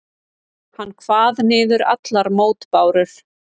Hann kvað niður allar mótbárur.